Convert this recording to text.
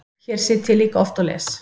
Hér sit ég líka oft og les.